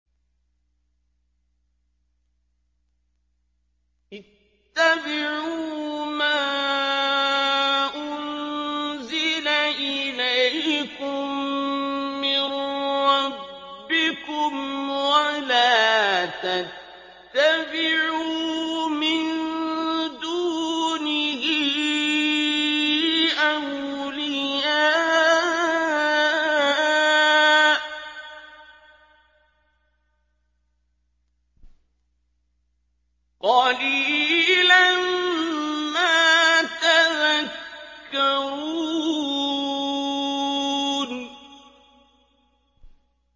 اتَّبِعُوا مَا أُنزِلَ إِلَيْكُم مِّن رَّبِّكُمْ وَلَا تَتَّبِعُوا مِن دُونِهِ أَوْلِيَاءَ ۗ قَلِيلًا مَّا تَذَكَّرُونَ